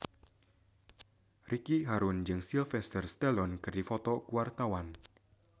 Ricky Harun jeung Sylvester Stallone keur dipoto ku wartawan